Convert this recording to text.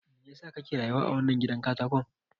Me yasa kake rayuwa a wannan gidan katakon?